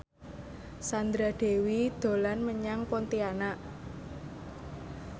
Sandra Dewi dolan menyang Pontianak